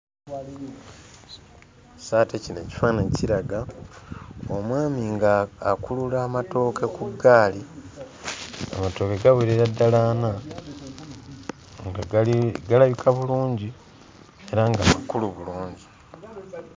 So ate kino ekifaananyi kiraga omwami ng'akulula amatooke ku ggaali. Amatooke gawerera ddala ana, nga gali galabika bulungi era nga makulu bulungi.